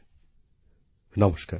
আমার প্রিয় দেশবাসী নমস্কার